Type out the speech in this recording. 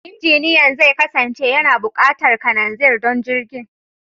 Injiniyan zai kasance yana buƙatar kananzir don jirgin.